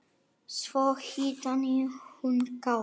Svo hitaði hún kakó.